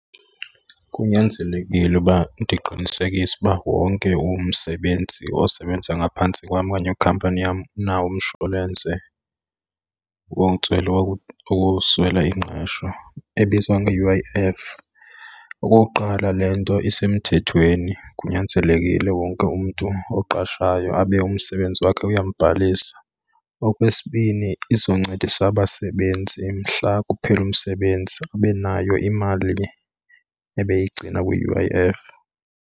Kunyanzelekile uba ndiqinisekise uba wonke umsebenzi osebenza ngaphantsi kwam okanye kwikhampani yam unawo umshwalense wokuswela ingqesho ebizwa nge-U_I_F. Okokuqala, le nto isemthethweni, kunyanzelekile wonke umntu oqashayo abe umsebenzi wakhe uyambhalisa. Okwesibini, izoncedisa abasebenzi mhla kuphela umsebenzi ube nayo imali ebeyigcina kwi-U_I_F.